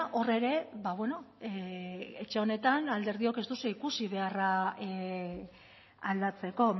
hor ere etxe honetan alderdiok ez duzue ikusi beharra aldatzeko